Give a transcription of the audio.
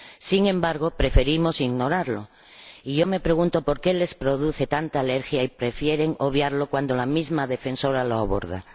Sin embargo, preferimos ignorarlo, y yo me pregunto ¿por qué les produce tanta alergia y prefieren obviarlo cuando la misma Defensora lo aborda?